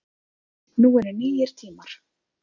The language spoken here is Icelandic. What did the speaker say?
Nú eru nýir tímar